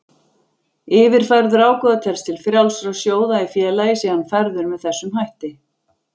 Yfirfærður ágóði telst til frjálsra sjóða í félagi sé hann færður með þessum hætti.